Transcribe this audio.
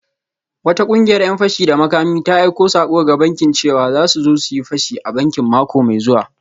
Wata kungiyar ‘yan fashi da makami ta aika sako ga bankin cewa za su zo su yi fashi a bankin mako mai zuwa